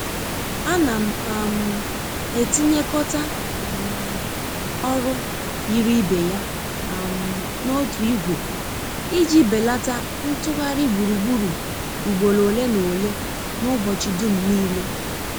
A na m um etinyekota um ọrụ yiri ibe ya um n'otu ìgwè i ji belata ntụgharị gburugburu ugboro ole n'ole n'ụbọchị dum nile.